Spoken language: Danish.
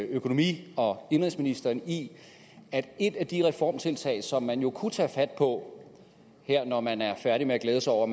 økonomi og indenrigsministeren i at et af de reformtiltag som man jo kunne tage fat på når man er færdig med glæde sig over